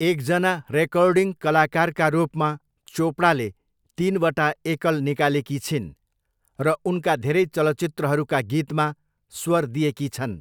एकजना रेकर्डिङ कलाकारका रूपमा, चोपडाले तिनवटा एकल निकालेकी छिन् र उनका धेरै चलचित्रहरूका गीतमा स्वर दिएकी छन्।